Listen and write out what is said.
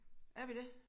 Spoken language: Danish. Er vi det